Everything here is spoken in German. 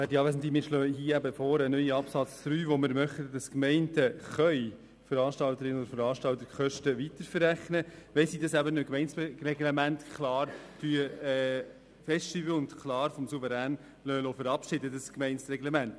Wir schlagen hier den neuen Absatz 3 in Artikel 52 vor, denn wir möchten, dass Gemeinden Veranstalterinnen und Veranstaltern Kosten weiter verrechnen können, wenn sie dies in einem Gemeindereglement klar festlegen und dieses vom Souverän verabschieden lassen.